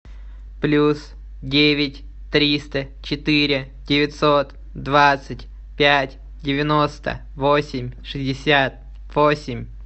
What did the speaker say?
плюс девять триста четыре девятьсот двадцать пять девяносто восемь шестьдесят восемь